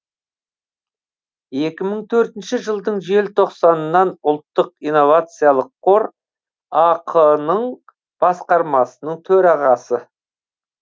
екі мың төртінші жылдың желтоқсанынан ұлттық инновациялық қор ақ ның басқармасының төрағасы